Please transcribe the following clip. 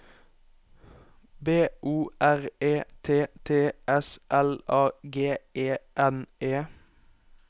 B O R E T T S L A G E N E